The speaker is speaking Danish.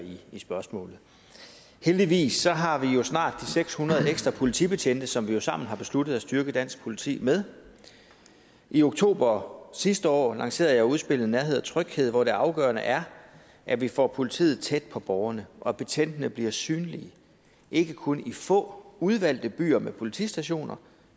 spørgsmålet heldigvis har vi jo snart de seks hundrede ekstra politibetjente som vi sammen har besluttet at styrke dansk politi med i oktober sidste år lancerede jeg udspillet nærhed og tryghed hvor det afgørende er at vi får politiet tæt på borgerne og at betjentene bliver synlige ikke kun i få udvalgte byer med politistationer